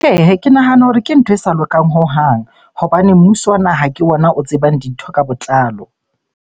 Ke nahana hore ke ntho e sa lokang hohang hobane mmuso wa naha ke ona o tsebang dintho ka botlalo.